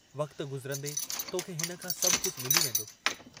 वक्त गुज़रन्दे तोखे हिन खां सभु कुझ मिली वेन्दो।